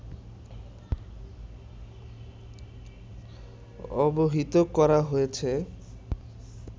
অবহিত করা হয়েছে